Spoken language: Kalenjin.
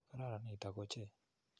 Kararan nitok oche !